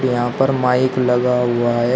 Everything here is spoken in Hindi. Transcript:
यहां पर माइक लगा हुआ है।